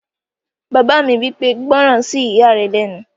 Bàbá mi wí pé, "gbọ́ràn sí ìyá rẹ lẹ́nu!"